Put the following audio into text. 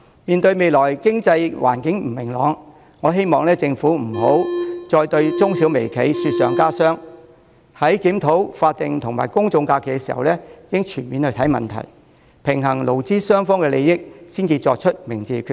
面對未來經濟環境不明朗，我希望政府不要再對中小微企雪上加霜，在檢討法定假日及公眾假期時應全面看問題，平衡勞資雙方的利益才作出明智的決定。